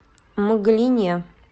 мглине